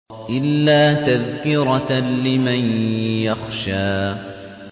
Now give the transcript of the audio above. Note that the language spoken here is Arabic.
إِلَّا تَذْكِرَةً لِّمَن يَخْشَىٰ